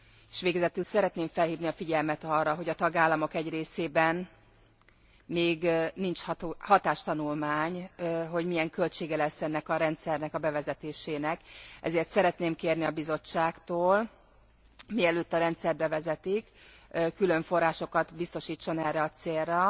S végezetül szeretném felhívni a figyelmet arra, hogy a tagállamok egy részében még nincs hatástanulmány, hogy milyen költsége lesz ennek a rendszernek a bevezetésének, ezért szeretném kérni a Bizottságtól, mielőtt a rendszert bevezetik, külön forrásokat biztosítson erre a célra,